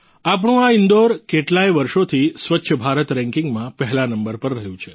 આપણું આ ઈન્દોર કેટલાય વર્ષોથી સ્વચ્છ ભારત રેંકિંગ માં પહેલા નંબર પર રહ્યું છે